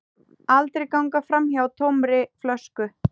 Aldrei ganga framhjá tómri flösku.